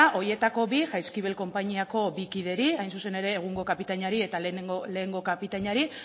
horietako bi jaizkibel konpainiako bi kideri hain zuen ere egungo kapitainari eta lehengo kapitainari